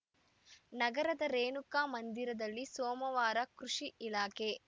ನಗರದ ರೇಣುಕಾ ಮಂದಿರದಲ್ಲಿ ಸೋಮವಾರ ಕೃಷಿ ಇಲಾಖೆ